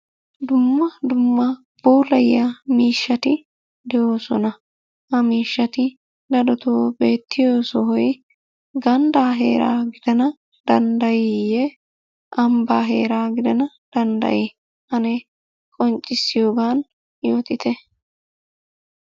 Dumma dumma puulayiya miishshati de'oosona. Ha miishshati darotoo beettiyo sohoy ganddaa heeraa gidana danddayiiyye ambbaa heeraa gidana danddayi? Ane qonccissiyogan yootite.